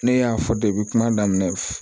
Ne y'a fɔ kuma daminɛ